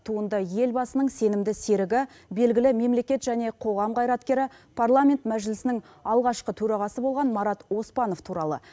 туынды елбасының сенімді серігі белгілі мемлекет және қоғам қайраткері парламент мәжілісінің алғашқы төрағасы болған марат оспанов туралы